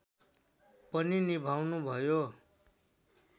पनि निभाउनुभयो